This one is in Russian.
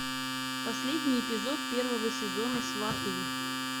последний эпизод первого сезона сваты